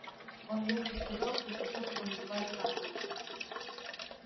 он лехе сказал что сейчас его называют карлосом